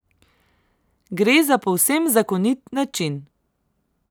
Gre za povsem zakonit način.